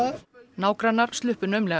nágrannar sluppu naumlega